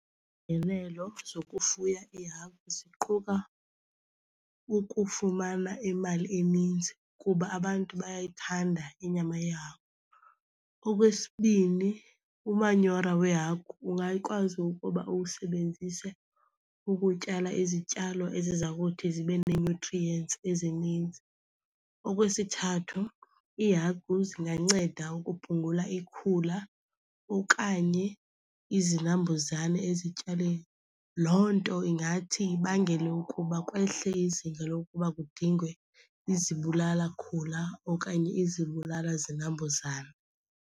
Iingenelo zokufuya iihagu ziquka ukufumana imali eninzi kuba abantu bayayithanda inyama yehagu. Okwesibini, umanyora wehagu ungayikwazi ukuba uwusebenzise ukutyala izityalo eziza kuthi zibe nee-nutrients ezininzi. Okwesithathu, iihagu zinganceda ukuphungula ikhula okanye izinambuzane ezityaleni. Loo nto ingathi ibangele ukuba kwehle izinga lokuba kudingwe izibulala khula okanye izibulala zinambuzane.